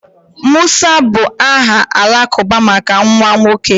Musa bụ aha Alakụba maka nwa nwoke